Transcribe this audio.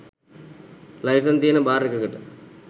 licence තියෙන bar එකකට